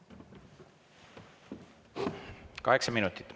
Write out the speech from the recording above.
Kaheksa minutit.